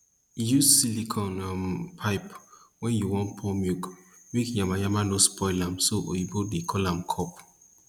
use silicone um pipe wen u wan pour milk make yamayama nor spoil am so oyibo dey call am cup